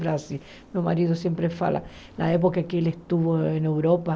Brasil Meu marido sempre fala da época em que ele estava na Europa.